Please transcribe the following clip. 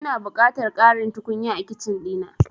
Ina buƙatar ƙarin tukunya a Kicin ɗina.